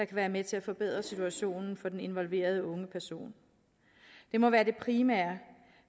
være med til at forbedre situationen for den involverede unge person det må være det primære